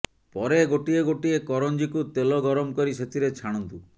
ପରେ ଗୋଟିଏ ଗୋଟିଏ କରଞ୍ଜିକୁ ତେଲ ଗରମ କରି ସେଥିରେ ଛାଣନ୍ତୁ